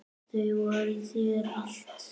Þau voru þér allt.